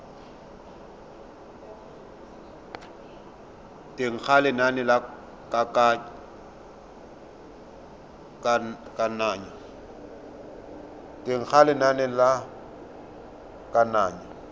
teng ga lenane la kananyo